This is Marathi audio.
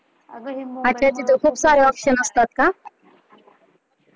अच्छा तिथं खूप सारे option असतात का?